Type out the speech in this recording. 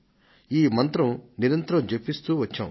ఈ మంత్రం నిరంతరం జపిస్తూ వచ్చాం